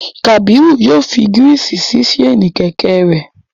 Kabiru yoo fi girisi si ṣaini kẹ̀kẹ́ rẹ